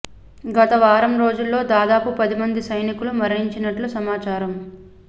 గత వారం రోజుల్లో దాదాపు పది మంది సైనికులు మరణించినట్లు సమాచారం